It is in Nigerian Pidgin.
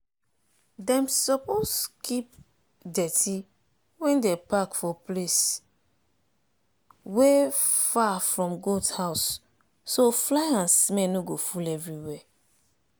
dem suppose keep dirty wey dem pack for place wey far from goat house so fly and smell no go full everywhere.